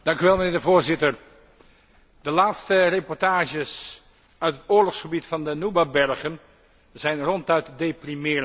Voorzitter, de laatste reportages uit het oorlogsgebied van de Nuba bergen zijn ronduit deprimerend.